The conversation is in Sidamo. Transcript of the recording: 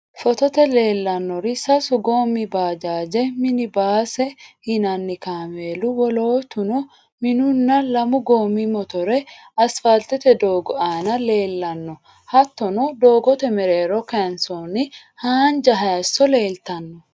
Footote leellannorisasu goommi baajaaji ,minibaase yinanni kaameelu, woloottu minunna lamu goommi mitore asfaalte doogo aana leellanno. Hattono doogote mereero kayinsoonni haanja hayissono leeltanno.